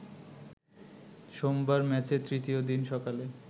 সোমবার ম্যাচের তৃতীয় দিন সকালে